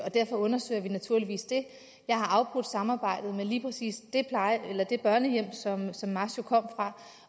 og derfor undersøger vi naturligvis det jeg har afbrudt samarbejdet med lige præcis det børnehjem som som masho kom fra